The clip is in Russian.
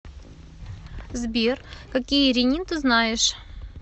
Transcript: сбер какие ренин ты знаешь